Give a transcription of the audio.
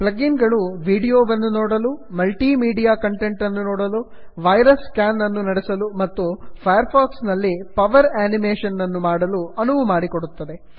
plug in ಗಳು ವೀಡಿಯೋವನ್ನು ನೋಡಲು ಮಲ್ಟಿ ಮೀಡಿಯಾ ಕಂಟೆಟ್ ಅನ್ನು ನೋಡಲು ವೈರಸ್ ಸ್ಕ್ಯಾನ್ ಅನ್ನು ನಡೆಸಲು ಮತ್ತು ಫೈರ್ ಫಾಕ್ಸ್ ನಲ್ಲಿ ಪವರ್ ಆನಿಮೇಷನ್ ಅನ್ನು ಮಾಡಲು ಅನುವು ಮಾಡಿಕೊಡುತ್ತದೆ